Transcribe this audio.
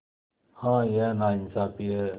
हाँ यह नाइंसाफ़ी है